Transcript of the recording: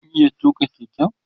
kin iya tuka Keke?